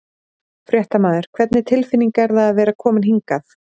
Fréttamaður: Hvernig tilfinning er það að vera komin hingað?